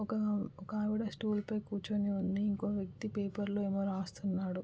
ఓకా ఓ- ఒక ఆవిడ స్టూలు పైన కూర్చుని ఉంది ఇంకో వ్యక్తి పేపర్ లో ఎదో రాస్తునాడు .